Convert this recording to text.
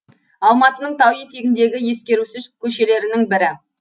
алматының тау етегіндегі ескерусіз көшелерінің бірі